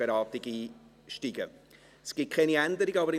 Dann steigen wir in die Detailberatung ein.